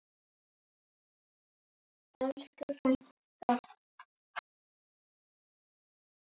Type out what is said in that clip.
Elsku frænka!